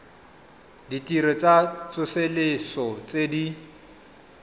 ditirelo tsa tsosoloso tse di